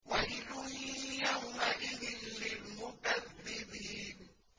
وَيْلٌ يَوْمَئِذٍ لِّلْمُكَذِّبِينَ